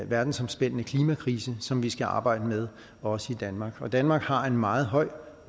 verdensomspændende klimakrise som vi skal arbejde med også i danmark og danmark har en meget høj